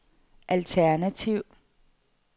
alternativ